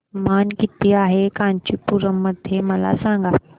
तापमान किती आहे कांचीपुरम मध्ये मला सांगा